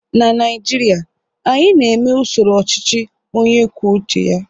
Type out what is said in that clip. na Naijiria, anyị na-eme usoro ọchịchị onye kwuo uche ya